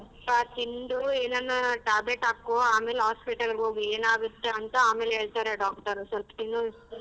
ತಿಂದು ಏನಾನ tablet ಹಾಕೊ ಆಮೇಲೆ hospital ಗ್ ಹೋಗು ಏನ್ ಆಗುತ್ತೆ ಅಂತ ಆಮೇಲ್ ಹೇಳ್ತಾರೆ ಸ್ವಲ್ಪ ತಿನ್ನು.